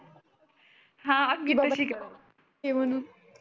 हे म्हणून